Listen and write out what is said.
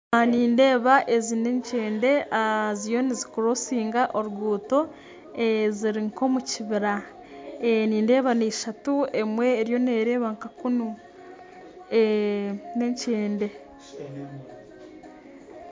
Aha nindeeba ezi n'ekyende ziriyo nizikurosinga oruguto ziri nka omu kibiira nindeeba nishatu emwe eriyo nereeba nka kuunu n'ekyende